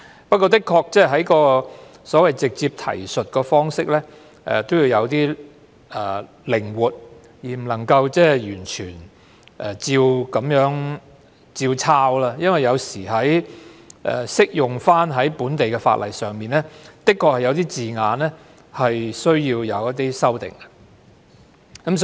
不過，的確，直接提述方式也要有些靈活度，不能夠完全照抄，因為有時候適用於本地的法例，的確有需要修訂一些字眼。